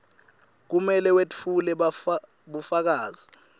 kumele wetfule bufakazi